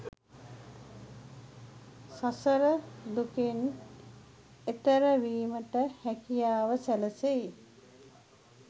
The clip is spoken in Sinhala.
සසර දුකෙන් එතෙර වීමට හැකියාව සැලසෙයි.